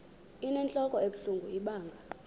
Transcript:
inentlok ebuhlungu ibanga